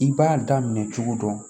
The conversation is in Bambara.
I b'a daminɛ cogo dɔ